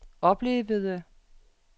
oplevede